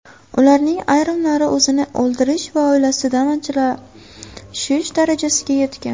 Ularning ayrimlari o‘zini o‘ldirish va oilasidan ajrashish darajasiga yetgan.